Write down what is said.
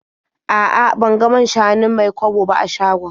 A'a, ban ga man-shanun Mai-kwabo ba a shagon.